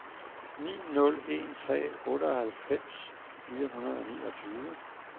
ni nul en tre otteoghalvfems fire hundrede og niogtyve